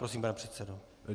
Prosím, pane předsedo.